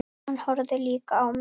Hann horfði líka á mig.